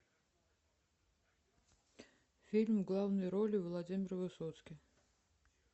фильм в главной роли владимир высоцкий